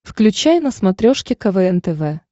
включай на смотрешке квн тв